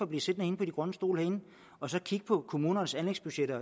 blive siddende på de grønne stole herinde og så kig på kommunernes anlægsbudgetter